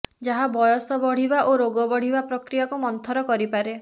ଯାହା ବୟସ ବଢିବା ଓ ରୋଗ ବଢିବା ପ୍ରକ୍ରିୟାକୁ ମନ୍ଥର କରିପାରେ